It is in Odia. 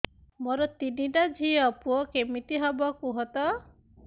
ମୋର ତିନିଟା ଝିଅ ପୁଅ କେମିତି ହବ କୁହତ